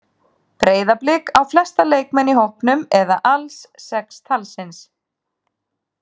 Breiðablik á flesta leikmenn í hópnum eða alls sex talsins.